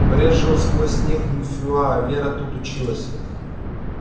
брезжил сквозь снег мфюа вера тут училась